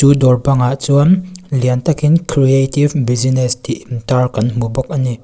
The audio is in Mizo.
chu dâwr bangah chuan lian takin creative business tih intâr kan hmu bawk a ni.